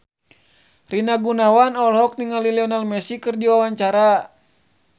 Rina Gunawan olohok ningali Lionel Messi keur diwawancara